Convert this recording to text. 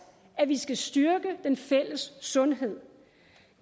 at vi skal styrke den fælles sundhed